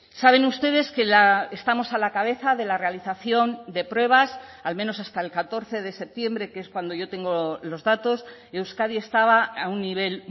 saben ustedes que estamos a la cabeza de la realización de pruebas al menos hasta el catorce de septiembre que es cuando yo tengo los datos euskadi estaba a un nivel